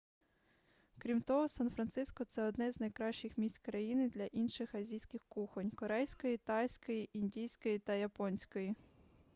крім того сан-франциско це одне з найкращих місць країни для інших азійських кухонь корейської тайської індійської та японської